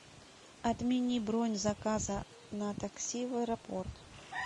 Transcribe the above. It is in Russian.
отмени бронь заказа на такси в аэропорт